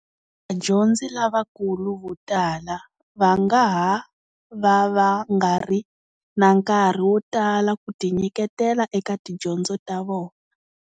Vadyondzi lavakulu vo tala va nga ha va va nga ri na nkarhi wo tala ku tinyiketela eka tidyondzo ta vona.